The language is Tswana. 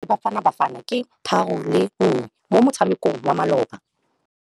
Sekôrô sa Nigeria le Bafanabafana ke 3-1 mo motshamekong wa malôba.